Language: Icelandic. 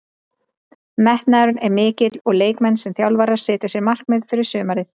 Metnaðurinn er mikill og leikmenn sem þjálfarar setja sér markmið fyrir sumarið.